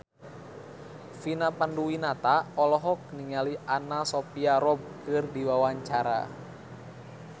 Vina Panduwinata olohok ningali Anna Sophia Robb keur diwawancara